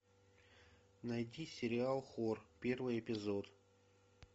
найти сериал хор первый эпизод